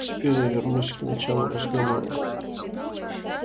теперь я вернусь к началу разговора